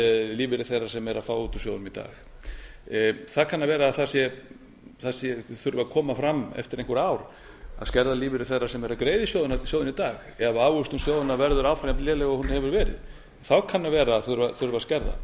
lífeyri þeirra sem eru að fá út úr sjóðunum í dag það kann að vera að það þurfi að koma fram eftir einhver ár að skerða lífeyri þeirra sem eru að greiða í sjóðina í dag ef ávöxtun sjóðanna verður áfram jafnléleg og hún hefur verið þá kann að vera að þurfi að skerða